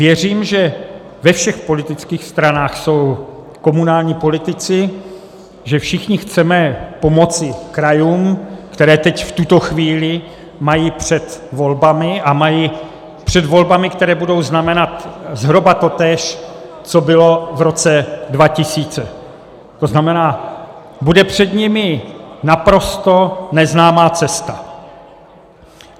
Věřím, že ve všech politických stranách jsou komunální politici, že všichni chceme pomoci krajům, které teď, v tuto chvíli, mají před volbami, a mají před volbami, které budou znamenat zhruba totéž, co bylo v roce 2000, to znamená, bude před nimi naprosto neznámá cesta.